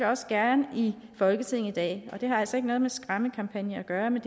også gerne i folketinget i dag og det har altså ikke noget med skræmmekampagne at gøre men